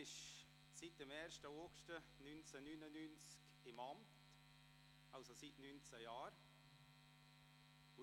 Sie ist seit 1. August 1999 im Amt, seit 19 Jahren also.